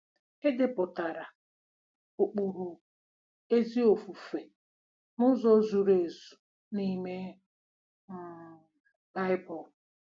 E depụtara ụkpụrụ ezi ofufe n'ụzọ zuru ezu n'ime um Bible.